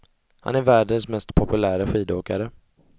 Han är världens mest populäre skidåkare.